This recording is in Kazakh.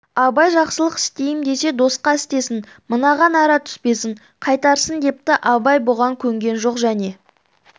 абай жақсылық істейім десе досқа істесін мынаған ара түспесін қайтарсын депті абай бұған көнген жоқ және